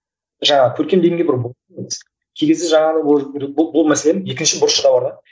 жаңағы көркем дегенге бір кей кезде жаңағы бұл мәселенің екінші бұрышы да бар да